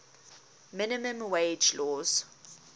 minimum wage laws